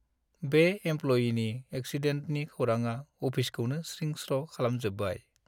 बे एमप्ल'यिनि एक्सिडेन्टनि खौराङा अफिसखौनो स्रिं-स्र' खालामजोब्बाय।